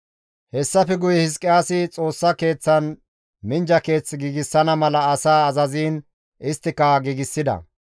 Hessafe guye Hizqiyaasi Xoossa Keeththan minjja keeth giigsana mala asaa azaziin isttika giigsida.